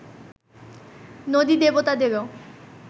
নদী-দেবতাদেরও